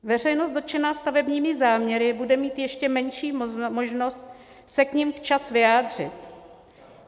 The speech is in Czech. Veřejnost dotčená stavebními záměry bude mít ještě menší možnost se k nim včas vyjádřit.